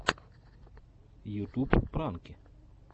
ютуб пранки